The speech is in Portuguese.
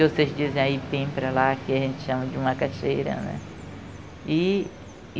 que vocês dizem aí que tem para lá, aqui a gente chama de macaxeira, né? E e